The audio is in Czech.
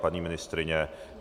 Paní ministryně?